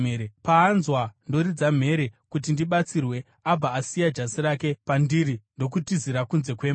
Paanzwa ndoridza mhere kuti ndibatsirwe, abva asiya jasi rake pandiri ndokutizira kunze kwemba.”